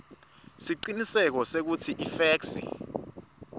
siciniseko sekutsi ifeksi